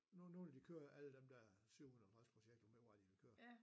Nu nu vil de køre alle dem der 750 projekter ved ikke hvor meget de ville køre